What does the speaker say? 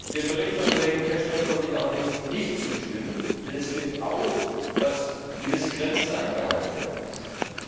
Dem Bericht des Kollegen Cashman konnte ich allerdings nicht zustimmen, denn es gilt auch, dass gewisse Grenzen eingehalten werden müssen.